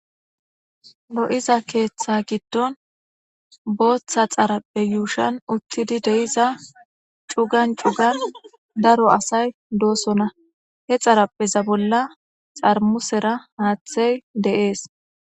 lo7iza keeththa giddon booththa xarappe yuushan uttidi deiza cugan cugan daro asay doosona he xarappeza bolla xarmusera haaththey deees